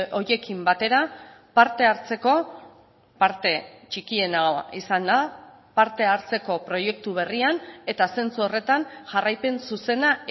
horiekin batera parte hartzeko parte txikiena izanda parte hartzeko proiektu berrian eta zentzu horretan jarraipen zuzena